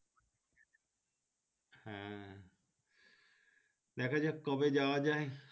হ্যাঁ দেখাযাক কবে যাওয়া যাই।